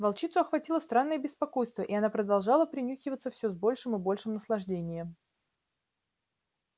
волчицу охватило странное беспокойство и она продолжала принюхиваться всё с большим и большим наслаждением